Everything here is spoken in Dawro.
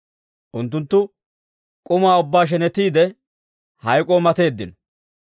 Unttunttu k'uma ubbaa shenetiide, hayk'k'oo mateeddino.